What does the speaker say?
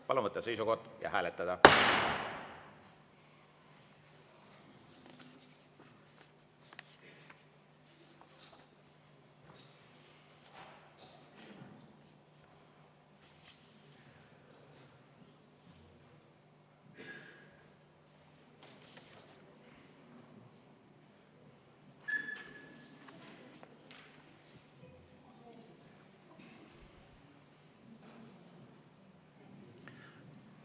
Palun võtta seisukoht ja hääletada!